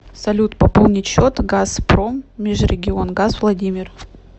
салют пополнить счет газпроммежрегионгаз владимир